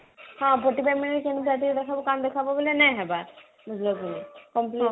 ହଁ fourtyfive minute ରେ କଣ ଦେଖାବୋ ବୋଲେ ନାଇ ହବା ବୁଝିଲ କି ନାଇଁ